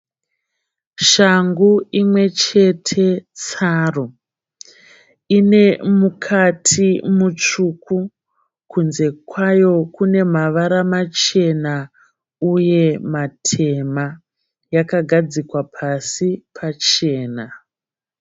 Shangu imwechete tsaru. Ine mukati mutsvuku, kunze kwayo kunemavara machena uye matema. Yakagadzikwa pasi pachena.